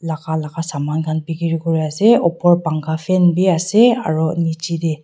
saman khan bikiri kuriase upor pankha fan bi ase aro nichaete.